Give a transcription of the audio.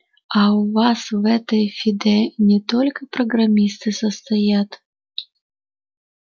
а у вас в этой фиде не только программисты состоят